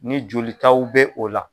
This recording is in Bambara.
Ni jolitaw bɛ o la